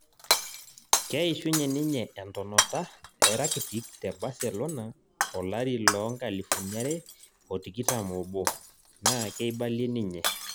Keishunye ninye entonota e Rakitik te Baselona olari loo nkalifun are otikitam obo na keibalie ninye